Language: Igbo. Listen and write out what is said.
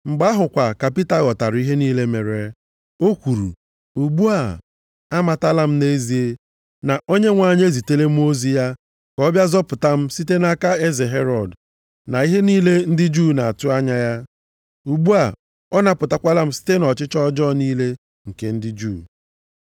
Mgbe ahụ kwa ka Pita ghọtara ihe niile mere. O kwuru, “Ugbu a, amatala m nʼezie, na Onyenwe anyị ezitela mmụọ ozi ya, ka ọ bịa zọpụta m site nʼaka eze Herọd na ihe niile ndị Juu na-atụ anya ya. Ugbu a ọ napụtakwala m site nʼọchịchọ ọjọọ niile nke ndị Juu.”